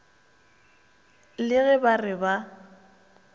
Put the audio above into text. le ge ba re ba